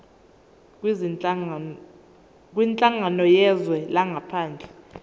kwinhlangano yezwe langaphandle